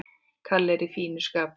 Kalli er í fínu skapi.